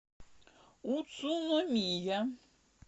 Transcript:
уцуномия